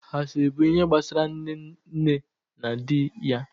Asịrị bụ ihe gbasara Nnenna na dị yam